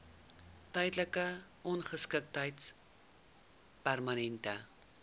tydelike ongeskiktheid permanente